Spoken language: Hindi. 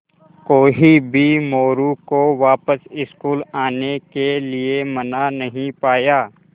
कोई भी मोरू को वापस स्कूल आने के लिये मना नहीं पाया